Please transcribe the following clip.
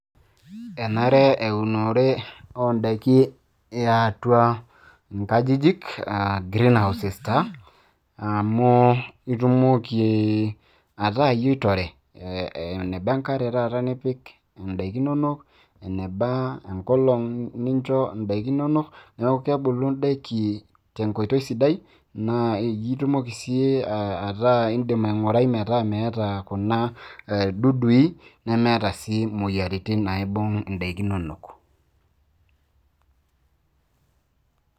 Enare eunore eatua inkajijik ee um greenhouses taa, amu itumoki ataa iyie oitore, enebaa enkare taata nipik, indaiki inonok, enebaa, enkolog nincho indaiki inono. Neaku kebulu indaiki, tenkoitoi sidai naa, itumoki sii indim aing'urai metaa meata kuna dudui, nemeeta taa sii imoyaritin naibung' indaiki inonok.